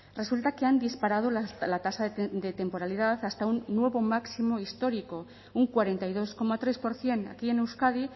resulta que han disparado la tasa de temporalidad hasta un nuevo máximo histórico un cuarenta y dos coma tres por ciento aquí en euskadi